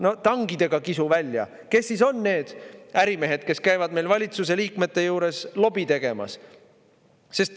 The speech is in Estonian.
No tangidega kisu välja, kes siis on need ärimehed, kes käivad valitsuse liikmete juures lobi tegemas.